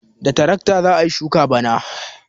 Da tarakta za a yi shuka bana.